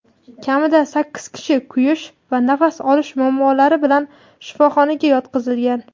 Kamida sakkiz kishi kuyish va nafas olish muammolari bilan shifoxonaga yotqizilgan.